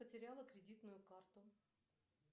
потеряла кредитную карту